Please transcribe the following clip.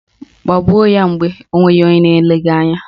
Gbagbuo ya mgbe onweghị onye na-ele gị anya!